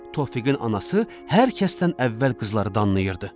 Tofiqin anası hər kəsdən əvvəl qızları danlayırdı.